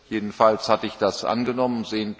jedenfalls hatte ich das angenommen